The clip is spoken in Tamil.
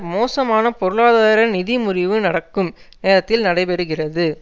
மோசமான பொருளாதார நிதி முறிவு நடக்கும் நேரத்தில் நடைபெறுகிறது